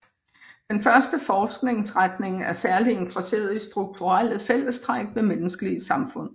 Den første forskningsretning er særligt interesseret i strukturelle fællestræk ved menneskelige samfund